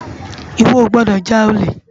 Iwò ó gbòdò já ólé